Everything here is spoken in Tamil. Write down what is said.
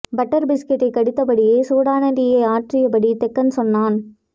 பட்டர் பிஸ்கட்டைக் கடித்தபடியே சூடான டீயை ஆற்றியபடி தெக்கன் சொன்னான்